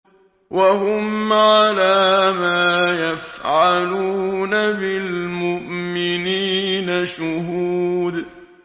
وَهُمْ عَلَىٰ مَا يَفْعَلُونَ بِالْمُؤْمِنِينَ شُهُودٌ